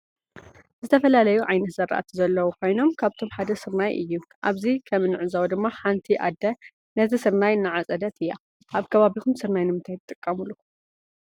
ዝተፈላለዩ ዓይነት ዝራእቲ ዘለው ኮይኖም ካብአቶም ሓደ ስርናይ እዩ። አብዚ ከም እንዕዞቦ ድማ ሓንቲ አደ ነቲ ስርናይ እናዓፀደት እያ። አብ ከባቢኩም ስርናይ ንምንታይ ትጥቀሙሉ?